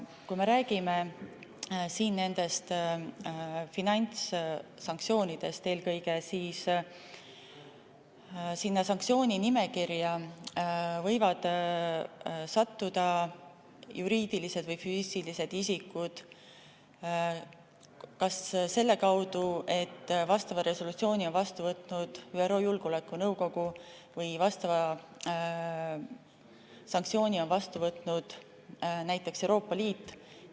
Kui me räägime finantssanktsioonidest, siis eelkõige võivad sinna sanktsiooninimekirja sattuda juriidilised või füüsilised isikud selle kaudu, et vastava resolutsiooni on vastu võtnud kas ÜRO Julgeolekunõukogu või vastava sanktsiooni on vastu võtnud näiteks Euroopa Liit.